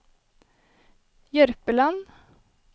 Jørpeland